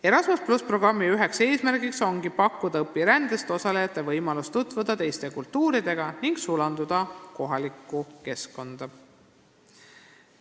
Erasmus+ programmi üks eesmärk ongi pakkuda õpirändes osalejatele võimalust tutvuda teiste kultuuridega ning sulanduda kohalikku keskkonda.